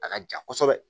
A ka jan kosɛbɛ